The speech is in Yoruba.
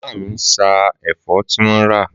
Màmá mi sá èfọ́ tí wọ́n rà.